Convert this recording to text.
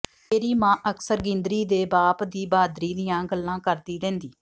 ਮੇਰੀ ਮਾਂ ਅਕਸਰ ਗਿੰਦਰੀ ਦੇ ਬਾਪ ਦੀ ਬਹਾਦਰੀ ਦੀਆਂ ਗੱਲਾਂ ਕਰਦੀ ਰਹਿੰਦੀ